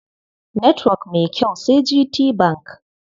Netwok mai kyau sai GTBank.